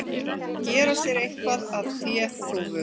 Að gera sér eitthvað að féþúfu